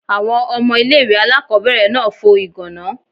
Àwọn ọmọ ilé ìwé aláàkọ́bẹ̀rẹ̀ náà fo ìgàná.